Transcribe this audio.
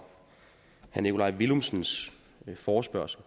herre nikolaj villumsens forespørgsel